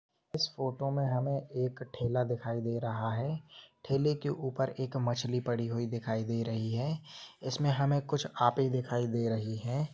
इस फोटो मे हमे एक ठेला दिखाई दे रहा है ठेले के ऊपर एक मछली पड़ी हुई दिखाई दे रही है इसमे हमे कुछ आपी दिखाई दे रही है।